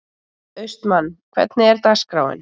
Austmann, hvernig er dagskráin?